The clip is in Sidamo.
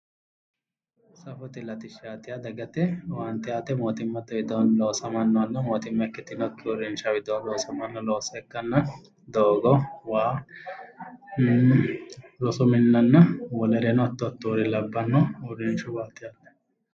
Safote latishsha yaa dagate owaante aate mootimmate widooni loosamanoha mootimma ikkitinokki uurrishuwa widooni loosamanoha ikkanna doogo, waa, rosu minnanna wolereno hatto hattore labbano uurrishuwati yaate.